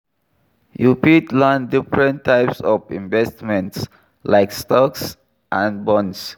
You fit learn differnt types of investments, like stocks and bonds.